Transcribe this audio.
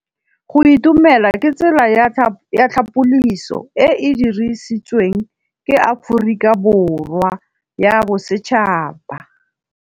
Go itumela ke tsela ya tlhapolisô e e dirisitsweng ke Aforika Borwa ya Bosetšhaba.